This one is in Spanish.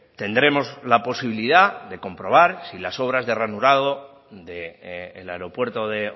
tendremos la posibilidad de comprobar si las obras de ranurado del aeropuerto de